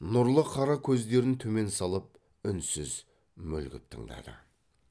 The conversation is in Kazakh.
нұрлы қара көздерін төмен салып үнсіз мүлгіп тыңдады